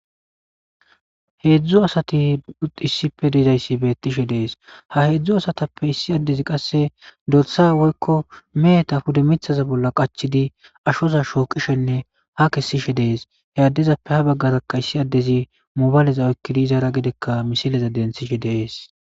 Hedzdzu asat issippe dizays betishe de'es, ha hedzdzu asatappe issi adez qase dorsa woykko meheta pude mithaza bolla qachid ashoza shoqishenne ha kesishe Des. He adezappe ha bagaraka issi adez mobileza oykid izara gedeka misileza denthishe de'es.